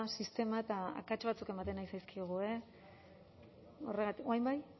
sistema eta akats batzuk ematen ari zaizkigu horregatik orain bai